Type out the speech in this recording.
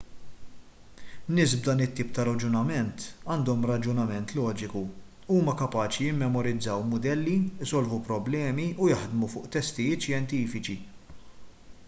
nies b'dan it-tip ta' raġunament għandhom raġunament loġiku huma kapaċi jimmemorizzaw mudelli isolvu problemi u jaħdmu fuq testijiet xjentifiċi